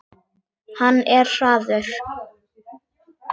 Hann er hraður.